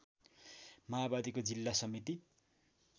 माओवादीको जिल्ला समिति